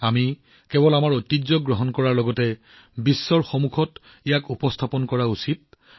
আহক আমি কেৱল আমাৰ ঐতিহ্যক আকোৱালি লোৱাই নহয় ইয়াক দায়িত্বশীলভাৱে বিশ্বৰ আগত উপস্থাপন কৰোঁ